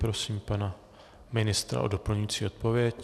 Prosím pana ministra o doplňující odpověď.